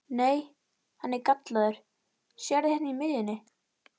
Nei, hann er gallaður, sérðu hérna í miðjunni.